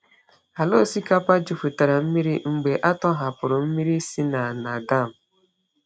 Ala osikapa jupụtara mmiri mgbe a tọhapụrụ mmiri si na na dam.